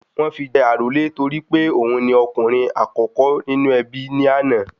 Wọ́n fi jẹ àrólé torí pé òun ni okùnrin àkókò nínú ẹbí ní àná